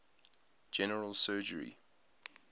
general surgery